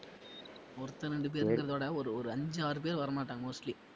ஒருத்தவன் ரெண்டு பேருங்கிறதைவிட ஒரு ஒரு அஞ்சு, ஆறு பேரு வரமாட்டாங்க mostly